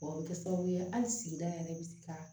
O bɛ kɛ sababu ye hali sigida yɛrɛ bɛ se ka